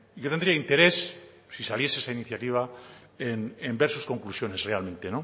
yo tendría interés si saliese esta iniciativa en ver sus conclusiones realmente